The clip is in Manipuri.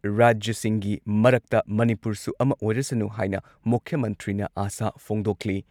ꯔꯥꯖ꯭ꯌꯁꯤꯡꯒꯤ ꯃꯔꯛꯇ ꯃꯅꯤꯄꯨꯔꯁꯨ ꯑꯃ ꯑꯣꯏꯔꯁꯅꯨ ꯍꯥꯏꯅ ꯃꯨꯈ꯭ꯌ ꯃꯟꯇ꯭ꯔꯤꯅ ꯑꯥꯁꯥ ꯐꯣꯡꯗꯣꯛꯂꯤ ꯫